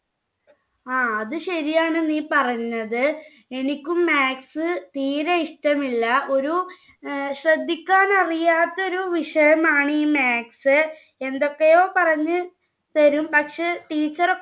ങ്ഹാ. അത് ശരിയാണ് നീ പറഞ്ഞത്. എനിക്കും maths തീരെ ഇഷ്ടമില്ല. ഒരു ശ്രദ്ധിക്കാൻ അറിയാത്ത ഒരു വിഷയമാണ് ഈ maths. എന്തൊക്കെയോ പറഞ്ഞുതരും പക്ഷെ teacher ഒക്കെ